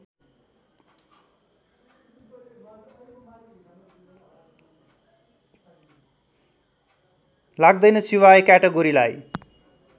लाग्दैन सिवाय क्याटेगोरीलाई